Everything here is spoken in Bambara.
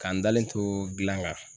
Ka n dalen to gilan kan.